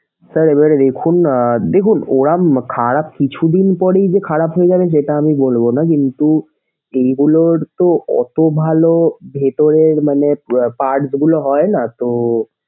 sir এবার দেখুন দেখুন ওরা খারাপ কিছুদিন পরেই যে খারাপ হয়ে যাবে সেটা আমি বলবোনা কিন্তু এইগুলোর তো অতো ভালো ভেতরের মানে parts গুলা হয়না তো।